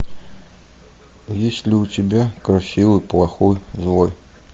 есть ли у тебя красивый плохой злой